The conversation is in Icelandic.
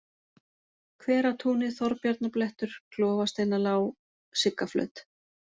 Hveratúnið, Þorbjarnarblettur, Klofasteinalág, Siggaflöt